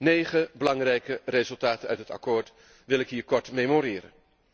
Negen belangrijke resultaten uit het akkoord wil ik hier kort memoreren.